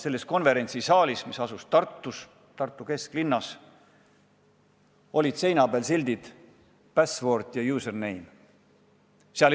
Sealses konverentsisaalis, mis asus Tartu kesklinnas, olid seina peal sildid "Password" ja "Username".